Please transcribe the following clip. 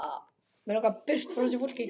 Mig langar burt frá þessu fólki.